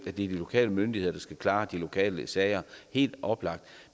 er de lokale myndigheder der skal klare de lokale sager helt oplagt